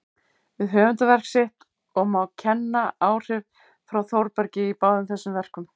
við höfundarverk sitt, og má kenna áhrif frá Þórbergi í báðum þessum verkum.